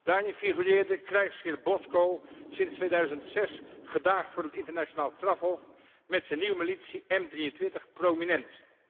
Daarin figureerde krijgsheer Bosco, sinds 2006 gedaagd voor het Internationaal Strafhof, met zijn nieuwe militie M23 prominent.